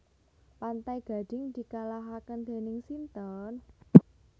Pantai Gading dikalahaken dening sinten?